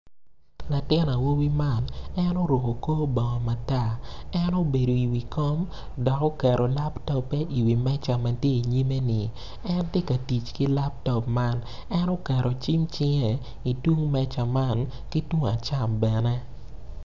Latin awobi man en oruku kor bongo matar en obedo i wi kom dok oketo laptoppe i wi meja ma ti i nyime-ni en ti ka tic ki laptop man en oketo cim cinge itung meja man ki tung acam bene